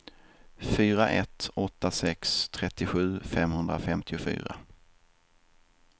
fyra ett åtta sex trettiosju femhundrafemtiofyra